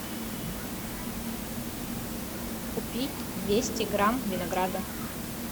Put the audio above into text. купи двести грамм винограда